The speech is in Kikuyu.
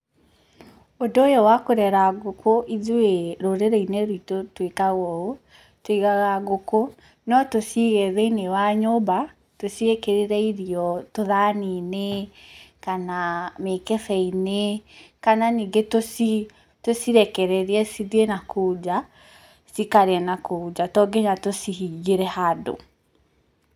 Ũndũ ũyũ wa kũrera ngũkũ, ithuĩ rũrĩrĩ-inĩ rwitũ tũĩkaga ũũ, tũigaga ngũkũ, no tũciige thĩiniĩ wa nyũmba, tũciĩkĩrĩre irio tũthani-inĩ, kana mĩkebe-inĩ, kana ningĩ tũcirekererie cithiĩ nakũu nja, cikarĩe na kũu nja to nginya tũcihingĩre handũ.